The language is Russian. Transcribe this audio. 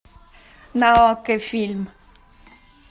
на окко фильм